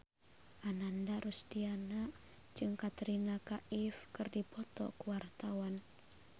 Ananda Rusdiana jeung Katrina Kaif keur dipoto ku wartawan